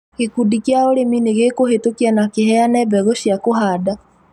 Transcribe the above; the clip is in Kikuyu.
Gĩkundi kĩa ũrĩmi nĩgĩkũhetũkia na kĩheane mbegũ cia kũhanda